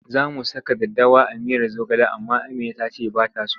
Za mu saka daddawa a miyar zogale amma Amina ta ce ba ta so.